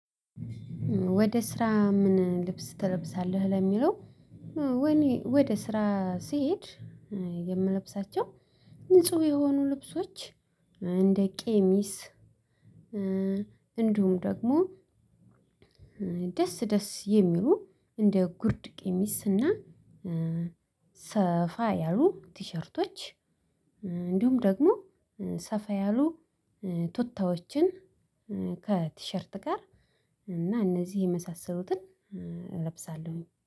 ወደ ስራ ምን ልብስ ትለብሳለህ? ለሚለው እኔ ወደ ስራ ስሄድ የምለብሳቸው ንጹ የሆኑ ልብሶች እንደቀሚስ እንዲሁም ደግሞ ደስ ደስ የሚሉ እንደ ጉርድ ቀሚስ እና ሰፋ ያሉ ቲሸርቶች እንዲሁም ደግሞ ሰፋ ያሉ ቱታዎችን ከቲሸርት ጋር እና እነዚህ የመሳሰሉትን እለብሳለሁኝ